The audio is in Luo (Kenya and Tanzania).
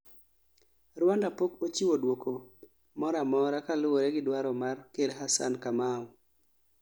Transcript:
Rwanda pok ochiwo duoko mora amora kaluwore gi dwaro mar ker Hassan Kamau